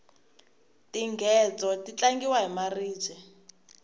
tinghedzo ti tlangiwa hi maribye